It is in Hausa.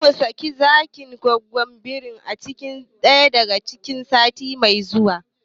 Zamu saka zakin da gwaggon birin cikin keji ɗaya sati mai zuwa